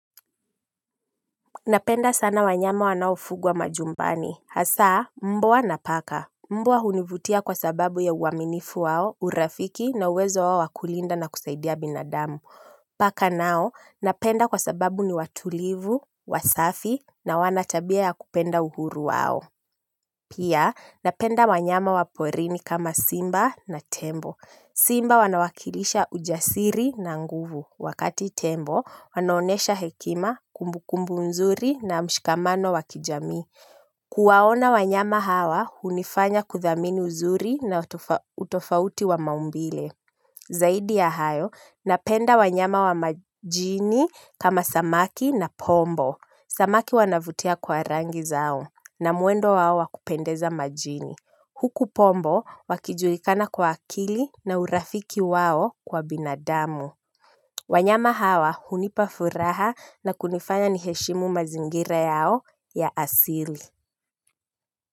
Napenda sana wanyama wanaofugwa majumbani. Hasa, mbwa na paka. Mbwa hunivutia kwa sababu ya uaminifu wao, urafiki na uwezo wao wa kulinda na kusaidia binadamu. Paka nao, napenda kwa sababu ni watulivu, wasafi na wana tabia ya kupenda uhuru wao. Pia, napenda wanyama wa porini kama simba na tembo. Simba wanawakilisha ujasiri na nguvu. Wakati tembo, wanoonyesha hekima, kumbukumbu nzuri na mshikamano wa kijamii. Kuwaona wanyama hawa, hunifanya kuthamini uzuri na utofauti wa maumbile. Zaidi ya hayo napenda wanyama wa majini kama samaki na pombo samaki wanavutia kwa rangi zao na mwendo wao wa kupendeza majini huku pombo wakijulikana kwa akili na urafiki wao kwa binadamu wanyama hawa hunipa furaha na kunifanya ni heshimu mazingira yao ya asili.